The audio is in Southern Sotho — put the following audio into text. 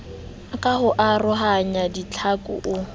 ka ho arohanya ditlhaku o